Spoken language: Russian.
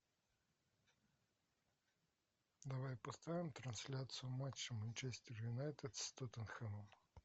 давай поставим трансляцию матча манчестер юнайтед с тоттенхэмом